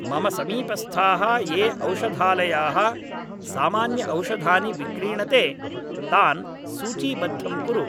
मम समीपस्थाः ये औषधालयाः सामान्यऔषधानि विक्रीणते तान् सूचीबद्धं कुरु